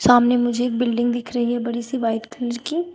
सामने मुझे एक बिल्डिंग दिख रही है बड़ी सी व्हाइट कलर की।